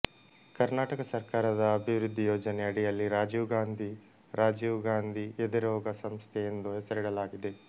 ಕರ್ನಾಟಕ ಸರ್ಕಾರದ ಅಭಿವೃದ್ಧಿ ಯೋಜನೆ ಅಡಿಯಲ್ಲಿ ರಾಜೀವ್ ಗಾಂಧಿ ರಾಜೀವ್ ಗಾಂಧಿ ಎದೆರೋಗ ಸಂಸ್ಥೆ ಎಂದು ಹೆಸರಿಡಲಾಗಿದೆ